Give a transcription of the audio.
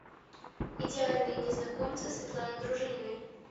идеальные незнакомцы светланы дружининой